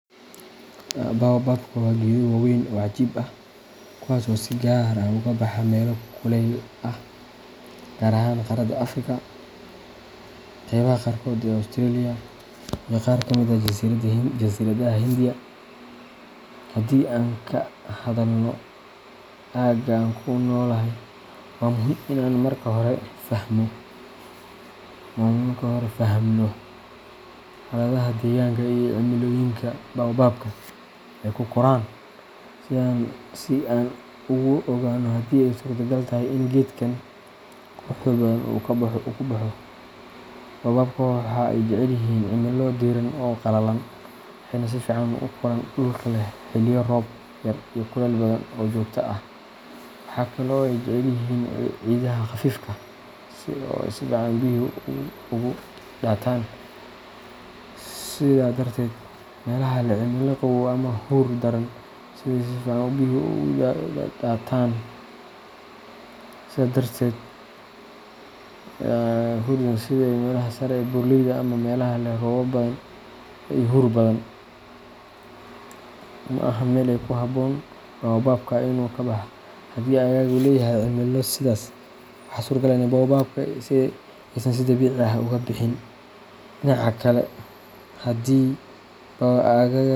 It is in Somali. Baobabka waa geedo waaweyn oo cajiib ah, kuwaas oo si gaar ah uga baxa meelo kuleylaha ah, gaar ahaan qaaradda Afrika, qaybaha qaarkood ee Australia, iyo qaar ka mid ah jasiiradaha Hindiya. Haddii aan ka hadalno aagga aan ku noolahay, waa muhiim in aan marka hore fahamno xaaladaha deegaanka iyo cimilooyinka baobabka ay ku koraan si aan u ogaanno haddii ay suurtagal tahay in geedkan quruxda badan uu ku baxo. Baobabka waxa ay jecel yihiin cimilo diiran oo qalalan, waxayna si fiican ugu koraan dhulalka leh xilliyo roob yar iyo kulayl badan oo joogto ah. Waxa kale oo ay jecel yihiin ciidaha khafiifka ah ee si fiican biyuhu uga daataan. Sidaa darteed, meelaha leh cimilo qabow ama huur daran, sida meelaha sare ee buuraleyda ama meelaha leh roobab badan iyo huur badan, ma ahan meel ku habboon baobabka inay ku baxaan. Haddii aaggaaga uu leeyahay cimilo sidaas ah, waxaa suuragal ah in baobabka aysan si dabiici ah uga bixin. Dhinaca kale, haddii aaggaaga.